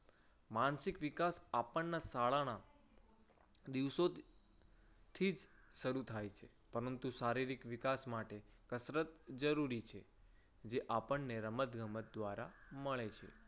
માનસિક વિકાસ આપણના શાળાના દિવસોજ થીજ શરુ થાય છે. પરંતુ સારી શારીરિક વિકાસ માટે કસરત જરૂરી છે. જે આપણને રમત ગમત દ્વારા મળે છે.